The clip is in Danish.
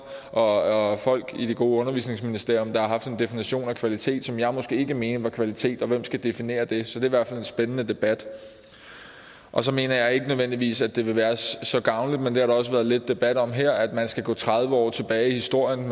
og folk i det gode undervisningsministerium der har haft en definition af kvalitet som jeg måske ikke mener er kvalitet og hvem skal definere det så det hvert fald en spændende debat og så mener jeg ikke nødvendigvis at det vil være så gavnligt men det har der også været lidt debat om her altså at man skal gå tredive år tilbage i historien